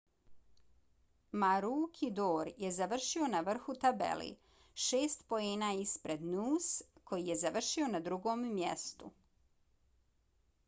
maroochydore je završio na vrhu tabele šest poena ispred noose koji je završio na drugom mjestu